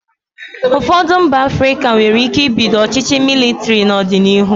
Ụfọdụ mba Afrịka nwere ike ibido ọchịchị mịlịtịrị n'ọdịnihu.